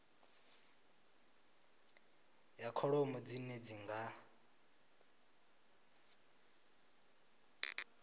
ya kholomo dzine dzi nga